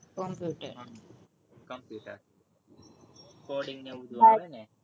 computer coding ને એવું બધું આવે ને